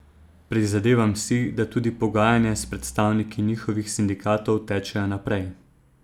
Prizadevam si, da tudi pogajanja s predstavniki njihovih sindikatov tečejo naprej.